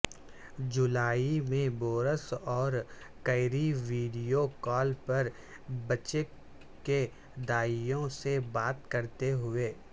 جولائی میں بورس اور Carrie video call پر بچے کی دائیوں سے بات کرتے ہوئے